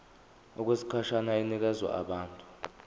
okwesikhashana inikezwa abantu